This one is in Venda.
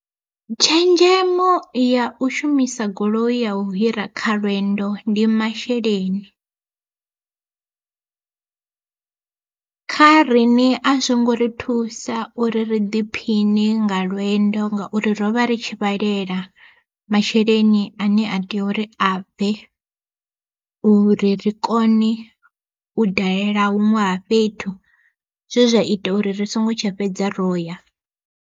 Tshenzhemo ya u shumisa goloi ya u hira kha lwendo ndi masheleni, kha riṋe azwo ngo ri thusa uri ri ḓiphiṋe nga lwendo ngauri rovha ri tshi vhalela masheleni ane a tea uri a bve, uri ri kone u dalela huṅwe ha fhethu zwe zwa ita uri ri songo tsha fhedza roya.